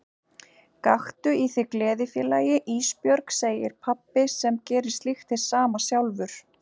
Gakktu í þig gleði félagi Ísbjörg, segir pabbi sem gerir slíkt hið sama sjálfur.